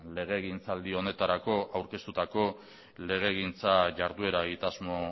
legegintzaldi honetarako aurkeztutako legegintza jarduera egitasmo